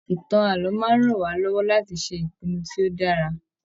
ìtàn ààlọ́ máa n rán wa lọwọ láti ṣe ìpinnu tí o dára.